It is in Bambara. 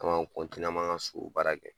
Anw b'an , anw b'an ka so baara kɛ.